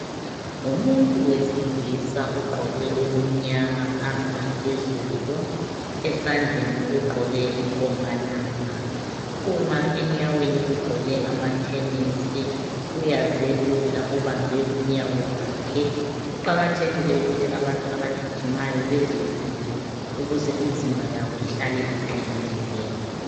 Umuntu wesilisa ogqoke okumnyama phansi laphezulu, esandleni ugqoke inkombalanga, enyaweni ugqoke amathenesi uyazelula ubambe unyawo lwakhe, kuqakathekile ukuthi abantu abagijimayo bezelule ukuze imizimba yabo ihlale iqinile.